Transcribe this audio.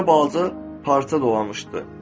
Üstünə balaca parça dolanmışdı,